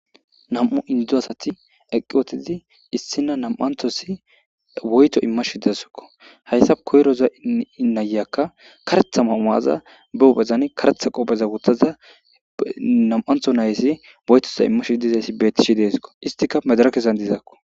nam7u indo asati eqqi wotidi issina nam7anthosi woyto imma shiddasokko hayssa koyroza inayyakka karetha mamaaza behu bezan karetha qoppheza wuttaza nam7antho nayasi boytoza immashidizayssi bettishi deesko istika medarakezan dizaakko